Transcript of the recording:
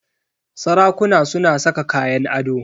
Sarakuna suna saka kayan ado.